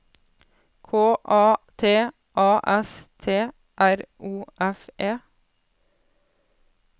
K A T A S T R O F E